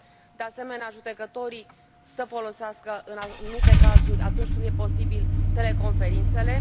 de asemenea, judecătorii să folosească în anumite cazuri, atunci când e posibil, teleconferințele